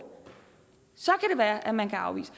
være at man kan afvise